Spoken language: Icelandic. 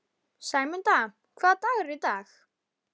Sæmunda, hvaða dagur er í dag?